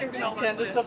Kəndi çox gözəldir.